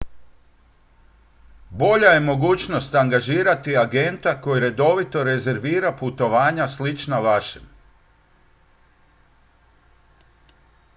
bolja je mogućnost angažirati agenta koji redovito rezervira putovanja slična vašem